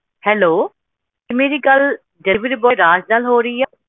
hello ਕੀ ਮੇਰੀ ਗੱਲ deliveryboy ਰਾਜ ਨਾਲ ਹੋ ਰਹੀ ਆ